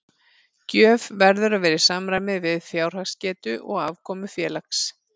Gjöf verður að vera í samræmi við fjárhagsgetu og afkomu félags.